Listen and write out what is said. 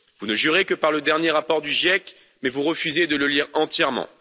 Vous ne jurez que par le dernier rapport du GIEC mais vous refusez de le lire entièrement.